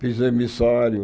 Fiz emissário.